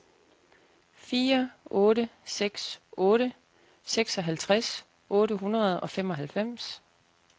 fire otte seks otte seksoghalvtreds otte hundrede og femoghalvfems